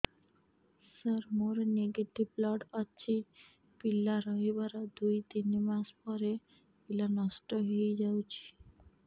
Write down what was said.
ସାର ମୋର negative blood ଅଛି ପିଲା ରହିବାର ଦୁଇ ତିନି ମାସ ପରେ ପିଲା ନଷ୍ଟ ହେଇ ଯାଉଛି